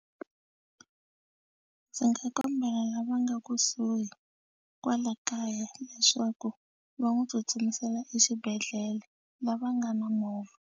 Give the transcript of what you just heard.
Ndzi nga kombela lava nga kusuhi kwala kaya leswaku va n'wi tsutsumisela exibedhlele lava nga na movha.